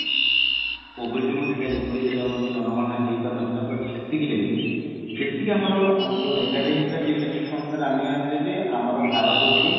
Covid ଯୋଗୁ ଦୁଇହାଜର ଏକୋଇଶି ରେ ଆମର ଯୋଉ ଜନଗଣନା ହେଇ ପାରି ନଥିଲା but ସେତିକିରେ ବି ଯେତିକି ଆମର ଆମର ଯୋଉ ଏଗାରରେ ହେଇଥିଲା ସେଇ senses on ଅନୁସାରେ ଆମେ ଜାଣିଥିଲେ ଯେ ଆମର ଭାରତ ହଉଛି